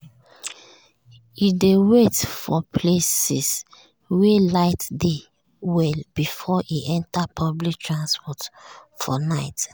e dey wait for places wey light dey well before e enter public transport for night.